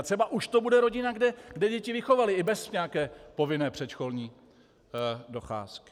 A třeba to už bude rodina, kde děti vychovali i bez nějaké povinné předškolní docházky.